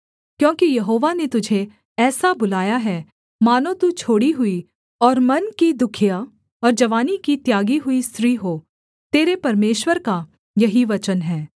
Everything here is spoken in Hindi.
क्योंकि यहोवा ने तुझे ऐसा बुलाया है मानो तू छोड़ी हुई और मन की दुःखिया और जवानी की त्यागी हुई स्त्री हो तेरे परमेश्वर का यही वचन है